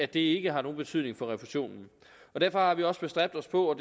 det ikke har nogen betydning for refusionen derfor har vi også bestræbt os på at